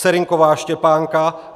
Serynková Štěpánka